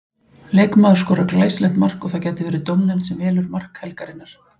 Leikmaður skorar glæsilegt mark og það gæti verið dómnefnd sem velur mark helgarinnar.